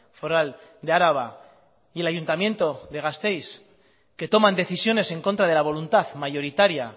foral de araba y el ayuntamiento de gasteiz que toman decisiones en contra de la voluntad mayoritaria